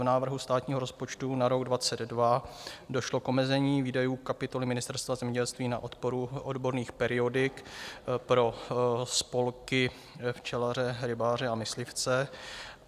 V návrhu státního rozpočtu na rok 2022 došlo k omezení výdajů kapitoly Ministerstva zemědělství na podporu odborných periodik pro spolky včelařů, rybářů a myslivců.